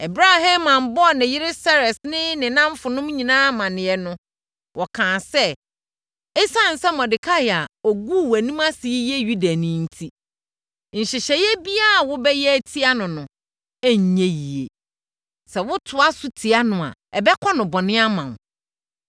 Ɛberɛ a Haman bɔɔ ne yere Seres ne ne nnamfonom nyinaa amaneɛ no, wɔkaa sɛ, “Esiane sɛ Mordekai a ɔguu wʼanim ase yi yɛ Yudani enti, nhyehyɛeɛ biara a wobɛyɛ atia no no renyɛ yie. Sɛ wotoa so tia no a, ɛbɛkɔ no bɔne ama wo.”